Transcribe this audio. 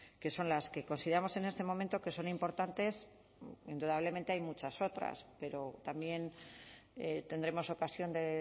que son las que consideramos en este momento que son importantes indudablemente hay muchas otras pero también tendremos ocasión de